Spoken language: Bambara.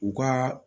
U ka